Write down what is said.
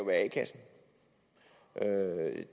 være a kassen